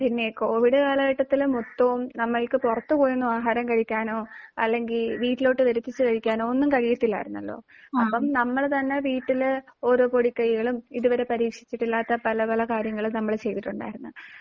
പിന്നേ. കോവിഡ് കാലഘട്ടത്തിലാണ് മൊത്തവും നമ്മൾക്ക് പുറത്ത് പോയി ഒന്ന് ആഹാരം കഴിക്കാനോ അല്ലെങ്കിൽ വീട്ടിലേക്ക് വരുത്തിച്ച് കഴിക്കാനോ ഒന്നും കഴിയാതില്ലായിരുന്നല്ലോ. അപ്പോൾ നമ്മൾ തന്നെ വീട്ടിൽ ഓരോ പൊടിക്കൈകളും ഇതുവരെ പരീക്ഷിച്ചിട്ടില്ലാത്ത പല പല കാര്യങ്ങളും നമ്മൾ ചെയ്തിട്ടുണ്ടായിരുന്നു.